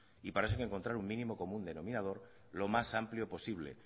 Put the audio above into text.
para eso hay que encontrar un mínimo común denominador lo más amplio posible